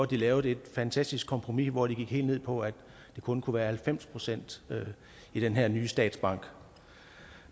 de lavede et fantastisk kompromis hvor de gik helt ned på at det kun kunne være halvfems procent i den her nye statsbank